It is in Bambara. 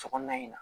Sokɔnɔna in na